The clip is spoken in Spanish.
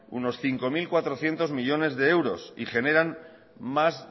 unos cinco mil cuatrocientos millónes de euros y generan más